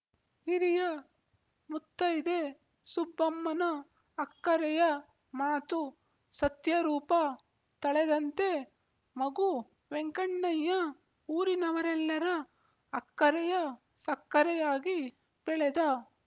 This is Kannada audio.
ಹಿರಿಯ ಮುತ್ತೈದೆ ಸುಬ್ಬಮ್ಮನ ಅಕ್ಕರೆಯ ಮಾತು ಸತ್ಯರೂಪ ತಳೆದಂತೆ ಮಗು ವೆಂಕಣ್ಣಯ್ಯ ಊರಿನವರೆಲ್ಲರ ಅಕ್ಕರೆಯ ಸಕ್ಕರೆಯಾಗಿ ಬೆಳೆದ